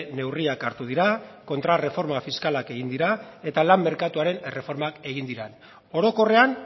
neurriak hartu dira kontrarreforma fiskalak egin dira eta lan merkatuaren erreformak egin dira orokorrean